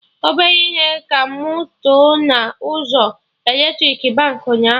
Ọbere ihe ka mụ tọ na ụzọ eletrik Baankị ụnyaahụ